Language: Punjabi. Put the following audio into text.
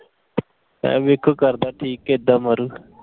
ਮੈਂ ਵੇਖੋ ਕਰਦਾ ਠੀਕ ਕਿ ਏਦਾਂ ਮਾਰੂ।